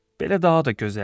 Belə daha da gözəldir.